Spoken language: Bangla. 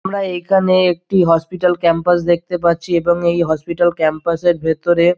আমরা এইখানে একটি হসপিটাল ক্যাম্পাস দেখতে পারছি এবং এই হসপিটাল ক্যাম্পাস -এর ভিতরে --